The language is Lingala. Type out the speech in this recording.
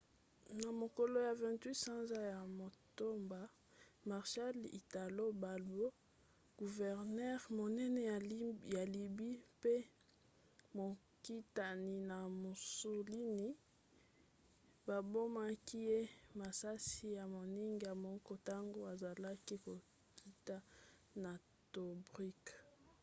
na mokolo ya 28 sanza ya motoba marshal italo balbo guvernere monene ya lybie mpe mokitani ya mussolini babomaki ye na masisi ya moninga moko ntango azalaki kokita na tobruk